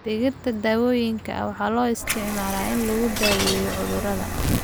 Dhirta daawooyinka ah waxaa loo isticmaalaa in lagu daweeyo cudurrada.